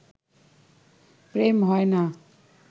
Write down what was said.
প্রেম হয় না